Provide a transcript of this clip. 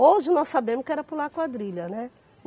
Hoje nós sabemos que era pular quadrilha, né.